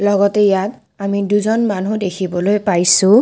লগতে ইয়াত আমি দুজন মানুহ দেখিবলৈ পাইছোঁ।